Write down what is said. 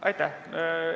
Aitäh!